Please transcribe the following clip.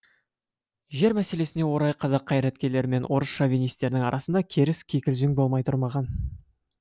жер мәселесіне орай қазақ қайраткерлері мен орыс шовинистерінің арасында керіс кикілжің болмай тұрмаған